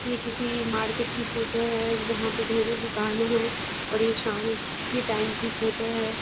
ये किसी मार्केट की फोटो है जहा पे ढेरों दुकान हैं और ये शाम के टाइम की फोटो है।